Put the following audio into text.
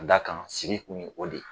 Ka d'a kan, sigi kun ye o de ye.